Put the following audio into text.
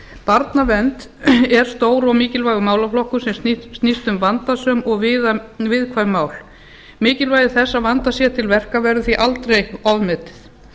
barnavernd er stór og mikilvægur málaflokkur sem snýst um vandasöm og viðkvæm mál mikilvægi þess að vandað sé til verka verður því aldrei ofmetið